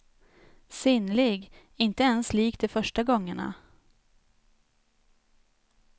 Sinnlig, inte ens lik de första gångerna.